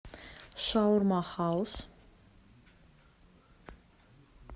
шаурма хаус